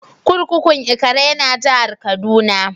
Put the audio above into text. Kurkukun Ikara ya na jihar Kaduna.